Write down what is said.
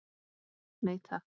Nei takk.